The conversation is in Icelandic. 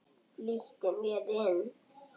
Flýtti mér inn.